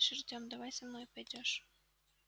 слышь тем давай со мной пойдёшь